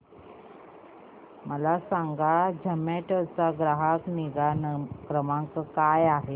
मला सांगा झोमॅटो चा ग्राहक निगा क्रमांक काय आहे